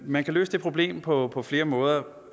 man kan løse det problem på på flere måder